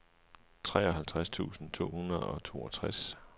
treoghalvtreds tusind to hundrede og toogtres